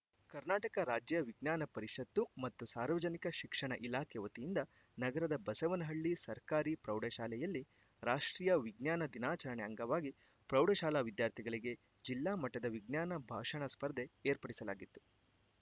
ಕರ್ನಾಟಕ ರಾಜ್ಯ ವಿಜ್ಞಾನ ಪರಿಷತ್ತು ಮತ್ತು ಸಾರ್ವಜನಿಕ ಶಿಕ್ಷಣ ಇಲಾಖೆ ವತಿಯಿಂದ ನಗರದ ಬಸವನಹಳ್ಳಿ ಸರ್ಕಾರಿ ಪ್ರೌಢಶಾಲೆಯಲ್ಲಿ ರಾಷ್ಟ್ರೀಯ ವಿಜ್ಞಾನ ದಿನಾಚರಣೆ ಅಂಗವಾಗಿ ಪ್ರೌಢಶಾಲಾ ವಿದ್ಯಾರ್ಥಿಗಳಿಗೆ ಜಿಲ್ಲಾ ಮಟ್ಟದ ವಿಜ್ಞಾನ ಭಾಷಣ ಸ್ಪರ್ಧೆ ಏರ್ಪಡಿಸಲಾಗಿತ್ತು